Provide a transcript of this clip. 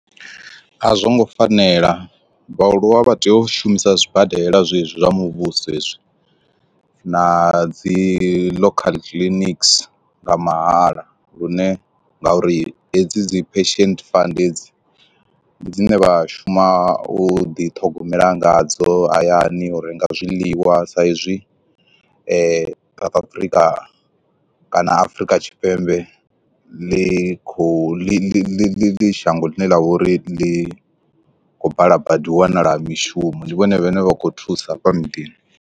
A zwongo fanela vhaaluwa vha tea u shumisa zwibadela zwezwi zwa muvhuso hezwi, na dzi local clinics nga mahala lune ngauri hedzi dzi pension fund hedzi ndi dzine vha shuma u ḓi ṱhogomela nga dzo hayani u renga zwiḽiwa sa izwi South Africa kana Afrika Tshipembe ḽi kho ḽi ḽi ḽi ḽi shango ḽine ḽa vha uri ḽi khou bala badi wanala mishumo ndi vhone vhane vha khou thusa hafha miḓini.